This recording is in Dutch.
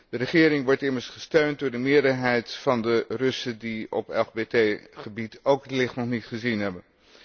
De regering wordt immers gesteund door de meerderheid van de Russen die op LGBT gebied ook het licht nog niet gezien hebben.